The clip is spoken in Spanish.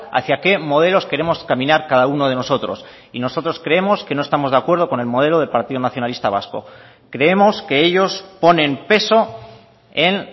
hacia qué modelos queremos caminar cada uno de nosotros y nosotros creemos que no estamos de acuerdo con el modelo del partido nacionalista vasco creemos que ellos ponen peso en